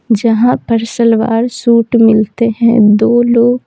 जहां पर सलवार सूट मिलते हैं दो लोग --